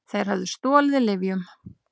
Þeir höfðu stolið lyfjum.